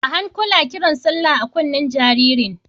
A hankula kiran sallah a kunnen jaririn!